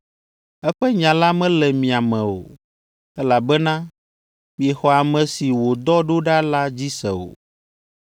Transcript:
Eƒe nya la mele mia me o, elabena miexɔ ame si wòdɔ ɖo ɖa la dzi se o.